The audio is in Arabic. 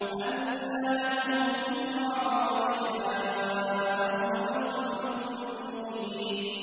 أَنَّىٰ لَهُمُ الذِّكْرَىٰ وَقَدْ جَاءَهُمْ رَسُولٌ مُّبِينٌ